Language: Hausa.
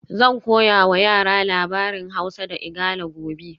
Zan koya wa yara labarin Hausa da Igala gobe